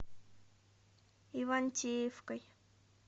ивантеевкой